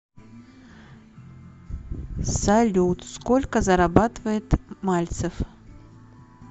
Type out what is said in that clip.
салют сколько зарабатывает мальцев